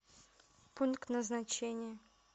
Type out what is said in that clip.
пункт назначения